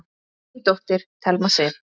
Þín dóttir, Thelma Sif.